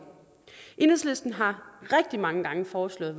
enhedslisten har rigtig mange gange foreslået